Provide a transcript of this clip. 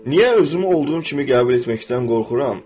Niyə özümü olduğum kimi qəbul etməkdən qorxuram?